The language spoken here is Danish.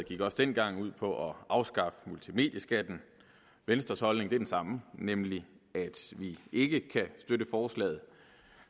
gik også dengang ud på at afskaffe multimedieskatten og venstres holdning er den samme nemlig at vi ikke kan støtte forslaget